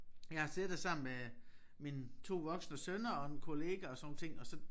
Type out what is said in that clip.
Jeg har siddet der sammen med mine 2 voksne sønner og en kollega og sådan nogle ting og så